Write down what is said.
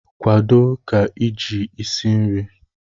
kwado ka iji esi nri!